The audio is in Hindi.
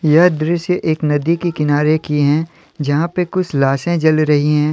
यह दृश्य एक नदी के किनारे की हैं यहां पे कुछ लाशें जल रही हैं।